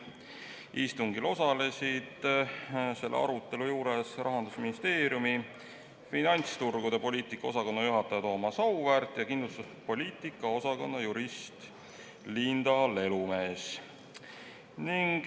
Istungil osalesid selle arutelu juures Rahandusministeeriumi finantsturgude poliitika osakonna juhataja Thomas Auväärt ja kindlustuspoliitika osakonna jurist Linda Lelumees.